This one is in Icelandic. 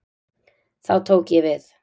Þá tók ég við.